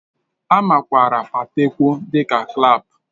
A makwaara Patewo dị ka Clap